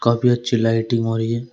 काफी अच्छी लाइटिग हो रही है।